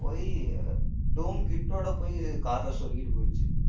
போயி doom kit ஓட போயி car ல சொருகிட்டு போயிடுச்சு